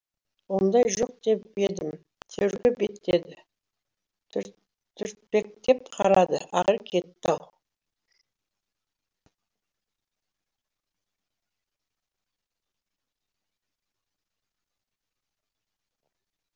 ондай жоқ деп едім төрге беттеді түртпектеп қарады ақыры кетті ау